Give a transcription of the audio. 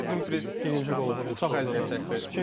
Həm də ki, Dumfries birinci qolu vurmuşdu, çox əziyyət çəkdi.